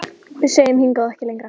Við segjum: Hingað og ekki lengra!